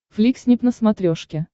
фликснип на смотрешке